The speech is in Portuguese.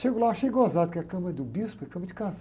Chego lá, achei gozado, porque a cama do bispo é cama de